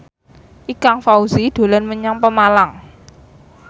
Ikang Fawzi dolan menyang Pemalang